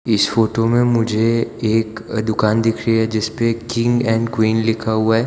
इस फोटो में मुझे एक दुकान दिख रही है जिसपे किंग एंड क्वीन लिखा हुआ है।